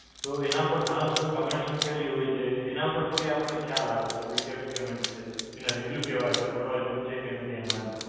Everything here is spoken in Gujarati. તો એના ઉપર ઘણા લોકોએ comments મૂકેલી હોય છે. એના ઉપરથી આપણને ખ્યાલ આવે કે ભઇ કેવો comments છે. એના reviews કેવા છે. પડવા જેવું છે કે નથી એમાં.